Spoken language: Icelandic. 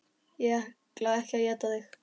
Ég ætla ekki að éta þig.